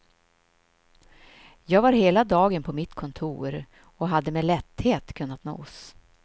Jag var hela dagen på mitt kontor och hade med lätthet kunnat nås.